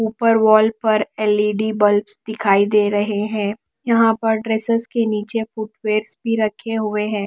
ऊपर वॉल पर L E D bulbs दिखाई दे रहे हैं यहां पर ड्रेस के नीचे फुट वेयरस भी रखे हुए हैं।